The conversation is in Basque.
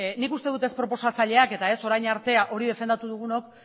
nik uste dut ez proposatzaileak eta ez orain arte hori defendatu dugunok